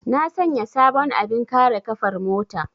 Na sanya sabon abin kare ƙafar mota.